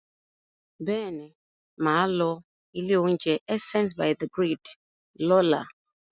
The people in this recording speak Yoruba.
Bẹ́ẹ̀ ni, mà á lọ ilé-oúnjẹ Essence by the Grid lọ́la.